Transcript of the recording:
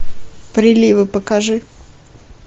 приливы покажи